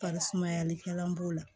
Bari sumayalikɛla b'o la